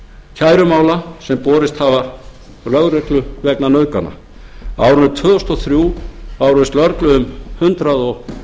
kærumála sem borist hafa lögreglu vegna nauðgana á árinu tvö þúsund og þrjú bárust lögreglu um hundrað og